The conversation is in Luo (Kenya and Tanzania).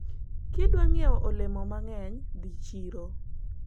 ukitaka kununua matunda mengi enda sokoni